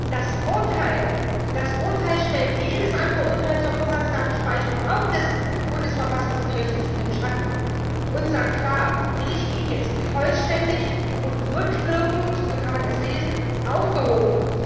Das Urteil stellt jedes andere Urteil zur Vorratsdatenspeicherung, auch des Bundesverfassungsgerichts, in den Schatten und sagt klar, die Richtlinie ist vollständig und rückwirkend so kann man es lesen aufgehoben.